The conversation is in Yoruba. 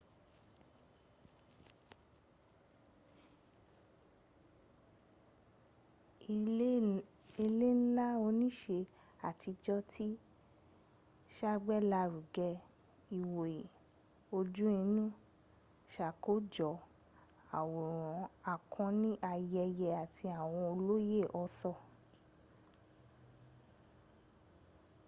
ilé ńlá oníṣe àtijọ́ ti sàgbélárugẹ ìwòye ojú inú sàkójọ̀ àwòrán akọni ayẹyẹ àti àwọn olóyè arthur